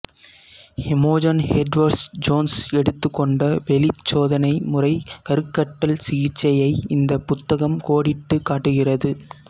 Imogen Edwards Jones எடுத்துக்கொண்ட வெளிச் சோதனை முறை கருக்கட்டல் சிகிச்சையை இந்த புத்தகம் கோடிட்டுக் காட்டுகிறது